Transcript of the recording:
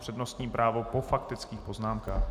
Přednostní právo po faktických poznámkách.